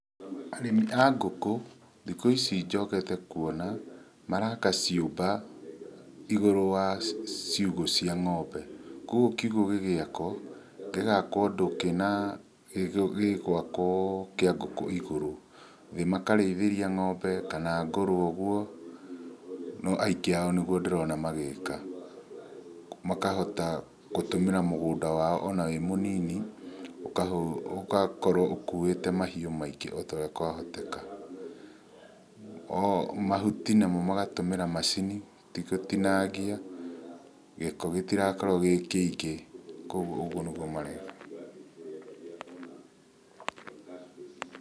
Arĩmi a ngũkũ, thikũ ici njokete kuona, maraka ciũmba, igũrũ wa ciugũ cia ngombe. Kuoguo kiugũ gĩgĩakwo, gĩkakũo ũndũ kĩna, gĩgwakũo kĩa ngũkũ igũrũ. Thĩ makarĩithĩria ngombe kana ngũrũwe ũguo, no aingĩ ao nĩguo ndĩrona magĩka. Makahota gũtũmĩra mũgũnda wao ona wĩ mũnini, ũgakorwo ũkuĩte mahiũ maingĩ ota ũrĩa kwahoteka. Mahuti namo magatũmĩra macini, ti gũtinangia, gĩko gĩtirakorũo gĩ kĩingĩ, kuoguo ũguo nĩguo mareka. Pause